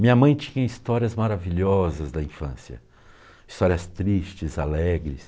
Minha mãe tinha histórias maravilhosas da infância, histórias tristes, alegres.